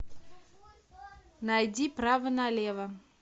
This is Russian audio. найди право на лево